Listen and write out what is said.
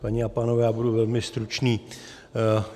Paní a pánové, já budu velmi stručný.